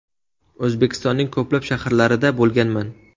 O‘zbekistonning ko‘plab shaharlarida bo‘lganman.